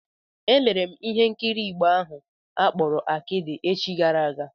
Elere m ihe nkiri Igbo ahụ akpọrọ Akịdị echi gara aga.